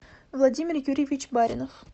владимир юрьевич баринов